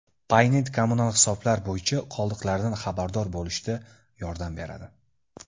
Paynet kommunal hisoblar bo‘yicha qoldiqlardan xabardor bo‘lishda yordam beradi.